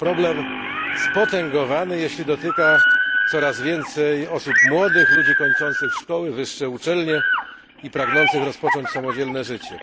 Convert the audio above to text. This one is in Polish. To problem spotęgowany, jeśli dotyka coraz więcej osób młodych, ludzi kończących szkoły, wyższe uczelnie i pragnących rozpocząć samodzielne życie.